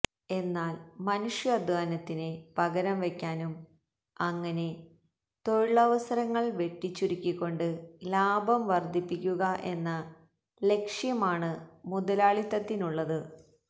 എന്നാല് മനുഷ്യാദ്ധ്വാനത്തിന് പകരം വയ്ക്കുവാനും അങ്ങനെ തൊഴിലവസരങ്ങള് വെട്ടിച്ചുരുക്കിക്കൊണ്ട് ലാഭം വര്ദ്ധിപ്പിക്കുക എന്ന ലക്ഷ്യമാണ് മുതലാളിത്തത്തിനുള്ളത്